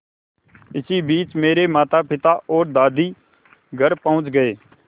इसी बीच मेरे मातापिता और दादी घर पहुँच गए